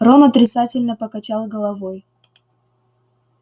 рон отрицательно покачал головой